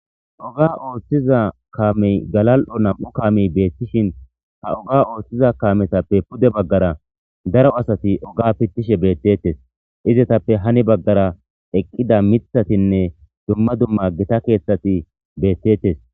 oga ooththiza kaamey galal7o nam7u kaamey beettishin ha oga ooththiza kaametappe pude baggara daro asati oga pittishe beettettes izetappe hani baggara eqqida mithatinne dumma dumma gita keeththati beettettes